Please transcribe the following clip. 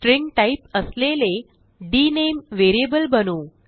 string type असलेले डीएनएमई variable बनवू